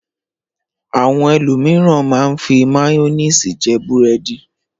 Àwọn ẹlòmíràn máa ń fi máyónísì jẹ búrẹ́dì.